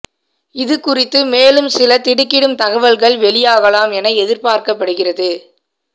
இது குறித்து மேலும் சில திடுக்கிடும் தகவல்கள் வெளியாகலாம் என எதிர்பார்க்கப்படுகிறது